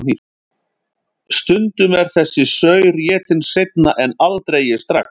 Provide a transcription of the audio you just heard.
Stundum er þessi saur étinn seinna en aldrei strax.